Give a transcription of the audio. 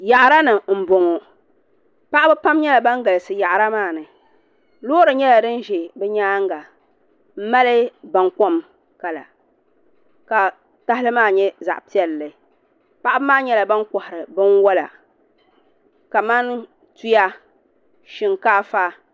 Yaɣara ni n boŋo paɣaba pam nyɛla ban galisi yaɣara maa ni loori nyɛla din ʒɛ bi nyaanga n ŋmani bankom kala ka tahali maa nyɛ zaɣ piɛlli paɣaba maa nyɛla ban kohari binwola kamani tuya shinkaafa